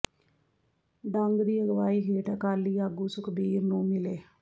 ਡੰਗ ਦੀ ਅਗਵਾਈ ਹੇਠ ਅਕਾਲੀ ਆਗੂ ਸੁਖਬੀਰ ਨੂੰ ਮਿਲੇ